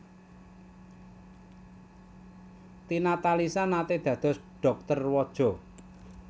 Tina Talisa naté dados dhokter waja